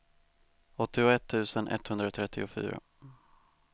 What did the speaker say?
åttioett tusen etthundratrettiofyra